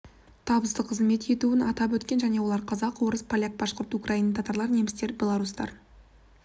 табысты қызмет етуін атап өткен жөн олар қазақ орыс поляк башқұрттар украиндар татарлар немістер белорустар